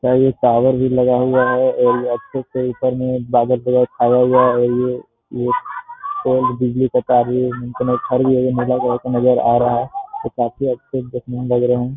यहाँ एक टावर भी लगा हुआ है और ये अच्छे से ऊपर मे बादल पूरा छाया हुआ है और ये ये और बिजली के तार भी नजर आ रहा है ये काफी अच्छे देखने मे लग रहे हैं।